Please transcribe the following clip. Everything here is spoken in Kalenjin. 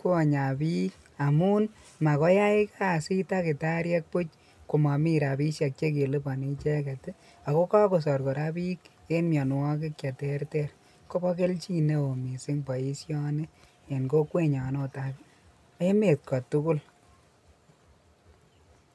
konyaa biik amun makoyai kasit takitariek buch komomii rabishek chekeliboni icheket ak ko kokosor kora biik en mionwokik cheterter, Kobo kelchin neoo mising boishoni en kokwenyon oot ak emet kotukul.